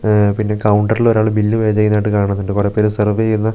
മ്മ് പിന്നെ കൗണ്ടറിൽ ഒരാൾ ബില്ല് പേ ചെയ്യുന്നത് ആയിട്ട് കാണുന്നുണ്ട് കൊറേ പേരെ സെർവർ ചെയ്യുന്ന--